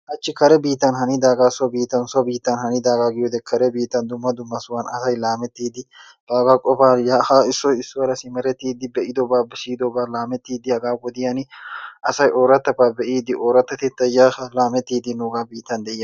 Hachchi kare biittan hanidaagaa so biittan so biittan hanidaagaa giyodee kare biittan dumma dumma sohuwan asay laamettiiddi baagaa qofaa yaa haa issoy issuwara simerettiiddi be'idobaa siyidobaa laamettiiddi hagaa wodiyan asay oorattabaa be'iiddi oorattattettaa yaa haa laamettiiddi nuugan biittan.